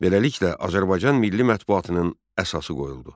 Beləliklə, Azərbaycan milli mətbuatının əsası qoyuldu.